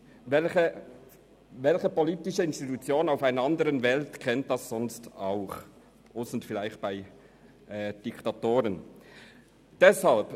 Welche politische Institution auf der Welt kennt diese Möglichkeit ebenfalls, ausser vielleicht diktatorischen Regierungen?